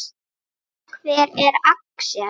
Hver er Axel?